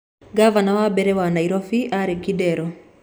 Ngavana wa mbere Nairobi aarĩ Kidero